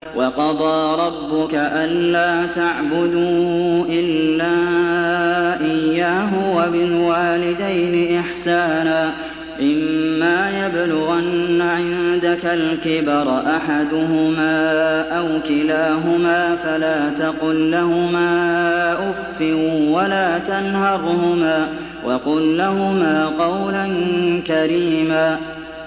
۞ وَقَضَىٰ رَبُّكَ أَلَّا تَعْبُدُوا إِلَّا إِيَّاهُ وَبِالْوَالِدَيْنِ إِحْسَانًا ۚ إِمَّا يَبْلُغَنَّ عِندَكَ الْكِبَرَ أَحَدُهُمَا أَوْ كِلَاهُمَا فَلَا تَقُل لَّهُمَا أُفٍّ وَلَا تَنْهَرْهُمَا وَقُل لَّهُمَا قَوْلًا كَرِيمًا